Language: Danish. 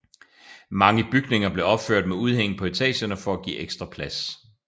Mange bygninger blev opført med udhæng på etagerne for at give ekstra plads